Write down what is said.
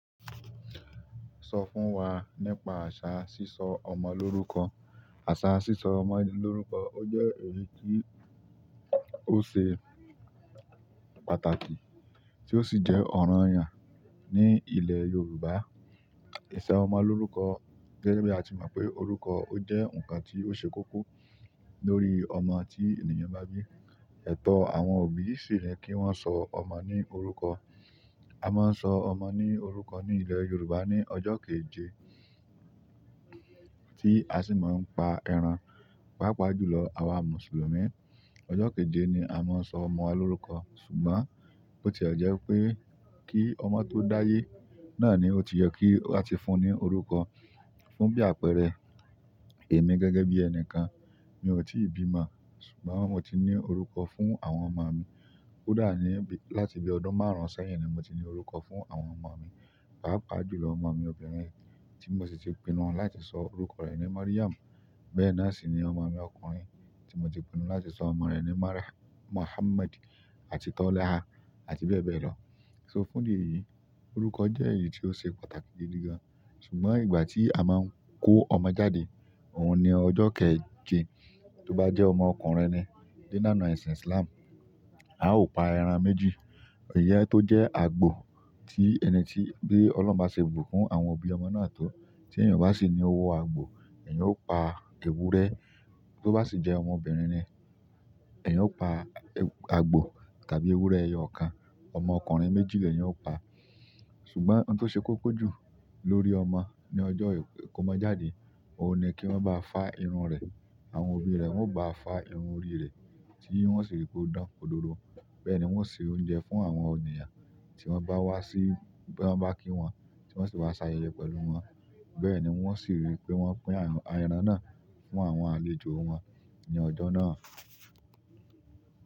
Sọ fún wa nípa àṣà sísọ ọmọ lórúkọ. Àṣà sísọ ọmọ lórúkọ ó jẹ́ èyí tí ó ṣe pàtàkì tí ó sì jẹ́ ọ̀ràn yàn ní ilẹ̀ Yorùbá. Ìṣo ọmọ lórúkọ jẹ́ pé a ti mọ̀ pé orúkọ ó jẹ́ ǹkan tí ó ṣe kókó lórí ọmọ tí ènìyàn bá bí. Ètò àwọn òbí sì ni kí wọ́n sọ ọmọ ní orúkọ. A máa ń sọ ọmọ ní orúkọ ní ilẹ̀ Yorùbá ní ọjọ́ keje tí a sì máa ń pà ẹran. Paapa jùlọ awa mùsùlùmí, ojo keje ni a ma n so ọmọ wa loruko. Ṣùgbọ́n ó ti è jẹ́ pé kí ọmọ tó dáyé náà ni ó ti yẹ́ kí a ti fún un ní orúkọ. Fún bí àpẹẹrẹ èmi gẹ́gẹ́ bí ẹni kan, mi ò tí ì bí ọmọ, ṣùgbọ́n mo ti ní orúkọ fún àwọn ọmọ mi. Kódà ní bí láti bí ọdún márùn-ún sẹ́yìn ni mo ti ní orúkọ fún àwọn ọmọ mi. Páapa jùlọ ọmọ mi obìnrin tí mo sì ti pinnu láti sọ orúkọ rẹ̀ ní. Maryam. Bẹ́ẹ̀ náà sì ni ọmọ mi ọkùnrin tí mo ti pinnu láti sọ ọmọ mi ní Mohammed àti Tola àti bẹ́ẹ̀ bẹ́ẹ̀ lọ. So fún ìdí èyí, orúkọ jẹ́ èyí tí ó ṣe pàtàkì gidi gan. Ṣùgbọ́n ìgbà ti a maa n ko ọmọ jáde oun ni ojo keje. Tó bá jẹ́ ọmọ ọkùnrin ni, ni ìlànà ẹ̀sìn Islam, a ó pa ẹran méjì. Ìyẹ́ tó jẹ́ àgbò tí ẹni tí bí Ọlọ́run bá ṣe bù fún àwọn òbí ọmọ náà tó. Tí èèyàn o bá sì ni owó àgbo, èèyàn ó pa ewúrẹ́. Tó bá sì jẹ́ ọmọbìnrin ni, èèyàn ó pa àgbò tàbí ewúrẹ́ ẹyọ kan. Ọmọ ọkùnrin méjì ni èèyàn ó pa. Ṣùgbọ́n ohun tó ṣe kókó jù lórí ọmọ ní ọjọ́ ikómo jáde, òun ni kí wọ́n bá fa irun rẹ̀. Àwọn òbí rẹ̀ won ó bá fá irun orí rẹ̀ tí wọ́n sì ri pé ó dán kodoro. Bẹ́ẹ̀ ni wọ́n sì se oúnjẹ fún àwọn ènìyàn tí wọ́n bá wá sí, tí wọ́n bá kí wọn, tí wọ́n sì wá ṣ'ayẹyẹ pẹ̀lú wọn. Bẹ́ẹ̀ ni wọ́n sì rí pé wọ́n pín ẹran náà fún àwọn àlejò wọn ní ọjọ́ náà.